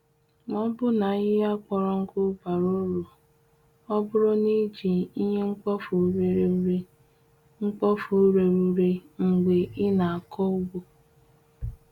Ma ọbụna ahịhịa kpọrọ nkụ bara uru oburu n’eji ihe mkpofu rere ure mkpofu rere ure mgbe ị na-akọ ugbo.